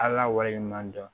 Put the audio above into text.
Ala wale ɲuman dɔn